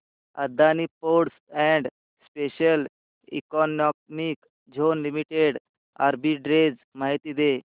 Adani ports and special economic zone limited arbitrage माहिती दे